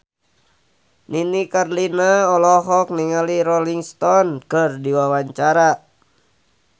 Nini Carlina olohok ningali Rolling Stone keur diwawancara